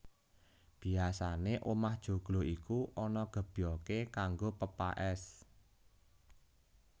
Biasané omah joglo iku ana gebyogé kanggo pepaès